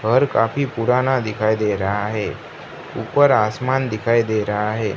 घर काफी पुराना दिखाई दे रहा है। ऊपर आसमान दिखाई दे रहा है।